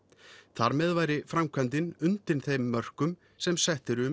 þar með væri framkvæmdin undir þeim mörkum sem sett eru um